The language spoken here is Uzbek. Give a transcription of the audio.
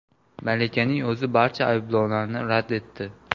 Malikaning o‘zi barcha ayblovlarni rad etdi.